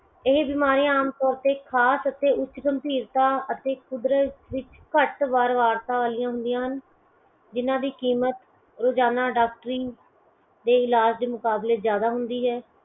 ਇਹ ਬਿਮਾਰੀਆਂ ਆਮ ਤੋਰ ਤੇ ਖ਼ਾਸ ਅਤੇ ਉੱਚ ਗਮ੍ਭੀਰਤਾ ਅਤੇ ਕੁਦਰਤ ਵਿੱਚ ਘੱਟ ਵਾਰ ਵਾਰਤਾ ਵਾਲਿਆ ਹੁੰਦੀਆਂ ਹਨ ਜਿਨਾ ਦੀ ਕੀਮਤ ਰੋਜਾਨਾ ਡਾਕਟਰੀ ਦੇ ਇਲਾਜ ਦੇ ਮੁਕਾਬਲੇ ਜਿਆਦਾ ਹੁੰਦੀ ਹੈ ।